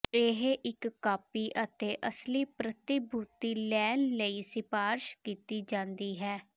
ਇਹ ਇੱਕ ਕਾਪੀ ਅਤੇ ਅਸਲੀ ਪ੍ਰਤੀਭੂਤੀ ਲੈਣ ਲਈ ਸਿਫਾਰਸ਼ ਕੀਤੀ ਜਾਦੀ ਹੈ